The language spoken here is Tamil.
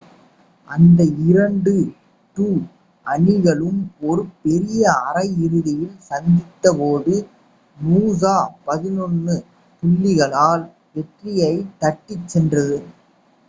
அந்த இரண்டு two அணிகளும் ஒரு பெரிய அரை இறுதியில் சந்தித்த போது நூசா 11 புள்ளிகளால் வெற்றியைத் தட்டிச் சென்றது